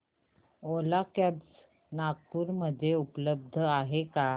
ओला cabs Nagpur मध्ये उपलब्ध आहे का